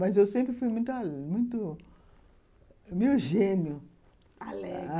Mas eu sempre fui muito... meio gênio. Alegre...